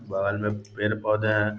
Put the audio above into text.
बाहर मे तरफ पेड़-पौधे हैं।